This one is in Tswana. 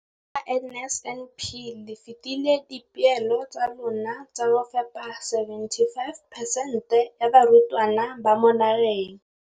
Ka NSNP le fetile dipeelo tsa lona tsa go fepa masome a supa le botlhano a diperesente ya barutwana ba mo nageng.